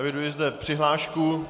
Eviduji zde přihlášku.